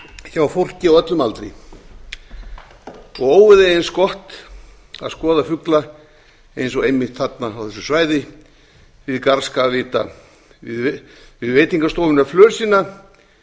hjá fólki á öllum aldri óvíða er eins gott að skoða fugla eins og einmitt þarna á þessu svæði við garðskagavita við veitingastofuna flösina